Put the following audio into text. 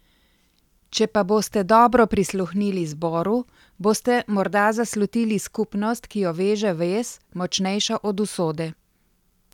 Če pa boste dobro prisluhnili zboru, boste morda zaslutili skupnost, ki jo veže vez, močnejša od usode.